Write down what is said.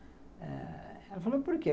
Ela falou, por quê?